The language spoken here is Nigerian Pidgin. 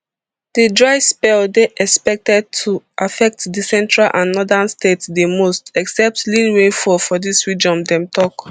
di dry spell dey expected to affect di central and northern states di most expect lean rainfall for dis region dem tok